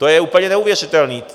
To je úplně neuvěřitelný!